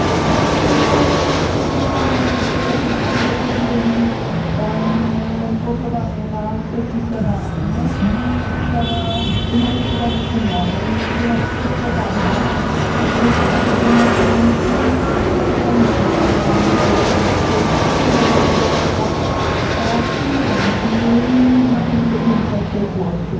Zanim członkowie Parlamentu Europejskiego podjęli głosowanie na sesji plenarnej, sprawa układu o stowarzyszeniu była przedmiotem głosowania w czasie posiedzenia Komisji Spraw Zagranicznych Parlamentu Europejskiego i zadecydowano o przyjęciu jej znakomitą większością głosów.